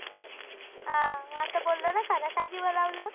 आह आता बोललो ना खर काय दिवं लावलं